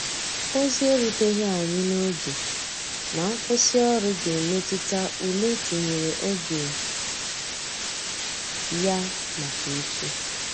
Ozi e ruteghi anya n'oge na nkwụsi ọrụ ga emetụta ụle etinyere oge ya maka echi.